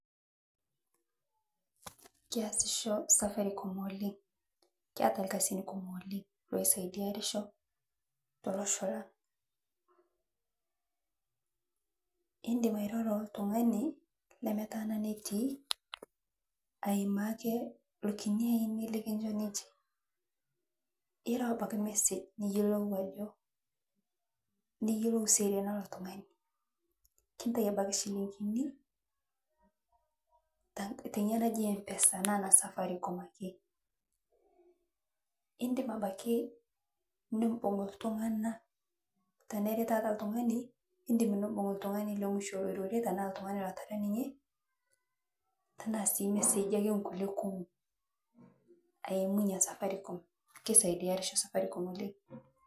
Keasicho safaricom oleng, keata lkazin kumuo oleng, oo saidiarisho telocho lang, indim airoro oo ltung'ane lemetaana netii aimaa ake lokini aini likincho ninje, irau abaki message niyelou ajo, niyelou seriani ee ltung'ane, intai abaki shilingini te nyia naji mpesa naa ne safaricom ake, indim abaki nimbung' ltung'ana teneri ltung'ne, indim nimbing' ltung'ane lotara ninye tanaa sii ltung'ane lemusho loirorie ninye, tanaa sii messagi ake nkule kumo, aimu nyia safaricom, keisaidiarisho safaricom oleng.